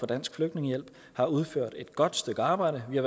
dansk flygtningehjælp har udført et godt stykke arbejde vi har